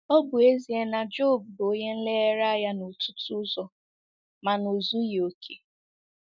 Ọ bụ ezie na Job bụ onye nlereanya n’ọtụtụ ụzọ, mana o zughị ókè.